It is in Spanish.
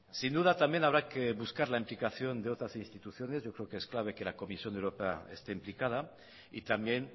sin duda también habrá que buscar la implicación de otras instituciones yo creo que es clave que la comisión europea esté implicada y también